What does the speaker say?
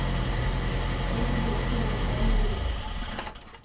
Ekigelisho te ldaari olotu